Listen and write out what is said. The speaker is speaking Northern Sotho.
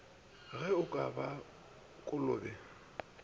ge o ka ba kolobe